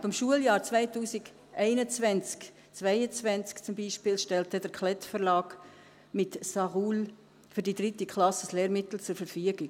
Ab dem Schuljahr 2021/22 zum Beispiel, stellt der Klett-Verlag mit «Ça roule» für die 3. Klasse ein Lehrmittel zur Verfügung.